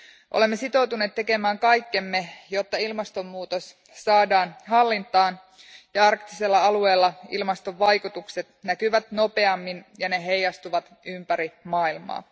Olemme sitoutuneet tekemään kaikkemme, jotta ilmastonmuutos saadaan hallintaan ja arktisella alueella ilmaston vaikutukset näkyvät nopeammin ja ne heijastuvat ympäri maailmaa.